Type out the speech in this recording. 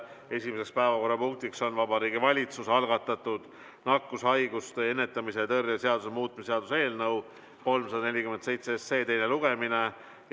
Esimene päevakorrapunkt on Vabariigi Valitsuse algatatud nakkushaiguste ennetamise ja tõrje seaduse muutmise ning sellega seonduvalt teiste seaduste muutmise seaduse eelnõu 347 teine lugemine.